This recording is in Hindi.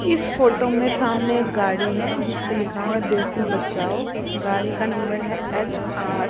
इस फोटो में सामने एक गाड़ी है जिसपे लिखा है बेटी बचाओ गाड़ी का नंबर है एच_आर --